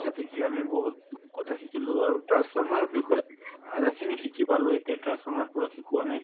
তাতে কি আমি বহুত কথা আমি শিকিলো আৰু transformer ৰ বিষয়ে অধাখিনি শিকি পালো এতিয়া transformer পূৰা শিকোৱা নাই